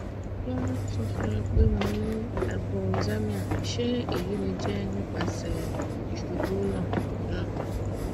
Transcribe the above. won n sọ fun mi pe mo ni hypoxemia se eyi le je nipasẹ isubu naa naa